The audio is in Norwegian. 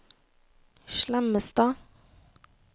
Slemmestad